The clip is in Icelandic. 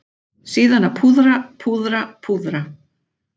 Síðan að púðra, púðra, púðra.